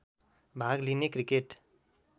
भाग लिने क्रिकेट